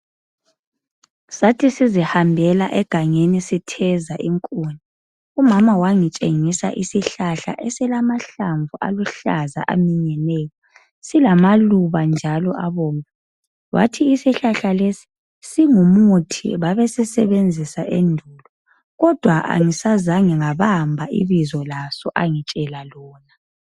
Sathi sizihambela egangeni sitheza inkuni. Umama wangitshengisa isihlahla esilamahlamvu aluhlaza aminyeneyo, silamaluba njalo abomvu. Wathi isihlahla lesi singumuthi, babesisebenzisa endulo kodwa angisazange ngabamba ibizo laso angitshela lona.